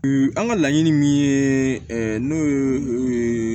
An ka laɲini min ye n'o ye